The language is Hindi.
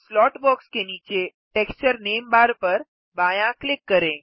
स्लॉट बॉक्स के नीचे टेक्सचर नामे बार पर बायाँ क्लिक करें